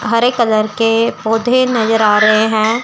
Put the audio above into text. हरे colour के पौधे नजर आ रहे हैं।